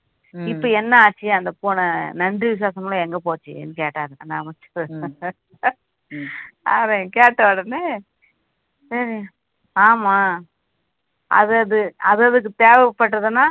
இப்போ என்ன ஆச்சு அந்த பூனை நன்றி விசுவாசம்லாம் எங்க போச்சுன்னு கேட்டாரு அந்த அமைச்சர் கேட்ட உடனே ஆஹ் ஆமா அது அது அது அதுக்கு தேவைப்படுதுன்னா